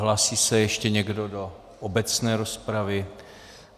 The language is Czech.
Hlásí se ještě někdo do obecné rozpravy?